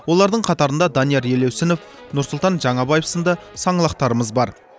олардың қатарында данияр елеусінов нұрсұлтан жаңабаев сынды саңлақтарымыз бар